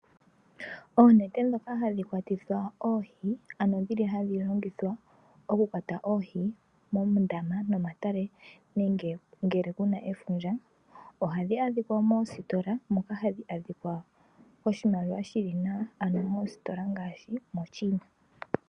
Oonete dhoka hadhi kwatithwa oohi, ano dhili hadhi longithwa oku kwata oohi moondama nomomatale nenge ngele kuna efundja ohadhi adhikwa moositola moka hadhi adhikwa koshimaliwa shili nawa, ano moositola ngaashi moChina.